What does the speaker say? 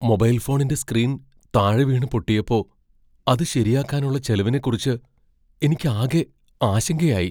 Mobile ഫോണിന്റെ screen താഴെ വീണ് പൊട്ടിയപ്പോ അത് ശരിയാക്കാനുള്ള ചെലവിനെക്കുറിച്ച് എനിക്കാകെ ആശങ്കയായി .